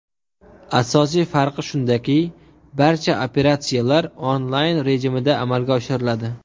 Asosiy farqi shundaki, barcha operatsiyalar Online rejimida amalga oshiriladi.